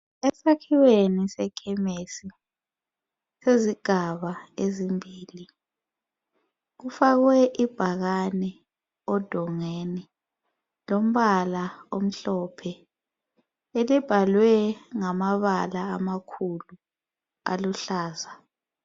Esakhiweni seKhemisi sezigaba ezimbili kufakwe ibhakane edongeni lombala omhlophe elibhalwe ngamabala amakhulu aluhlaza.